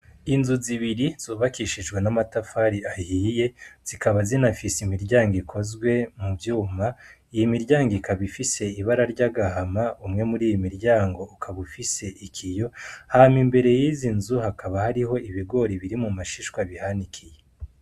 Inzu zibiri zubakishijwe n'amatafari ahiye zikaba zina fise imiryango ikozwe mu vyuma iyi imiryango ikaba ifise ibara ry'agahama umwe muri iyi miryango ukaba ufise ikiyo hama imbere y'izi nzu hakaba hariho ibigora biri mu mashishwa bihanikiye.